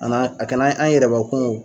Ana a kana an yɛrɛbakun